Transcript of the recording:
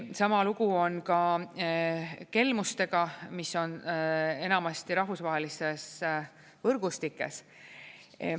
Sama lugu on ka kelmustega, mis on enamasti rahvusvahelistes võrgustikes.